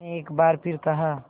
मैंने एक बार फिर कहा